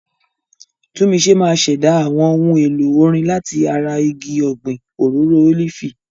Tunmise máa ṣẹ̀dá àwọn ohun èlò orin láti ara igi ọ̀gbìn òróró ólífì.